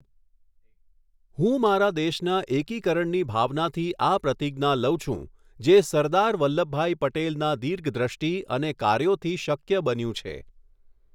હું મારા દેશના એકીકરણની ભાવનાથી આ પ્રતિજ્ઞા લઉં છું જે સરદાર વલ્લભભાઈ પટેલનાં દીર્ઘદ્રષ્ટિ અને કાર્યોથી શક્ય બન્યું છે.